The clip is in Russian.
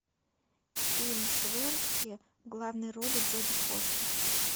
фильм швентке в главной роли джоди фостер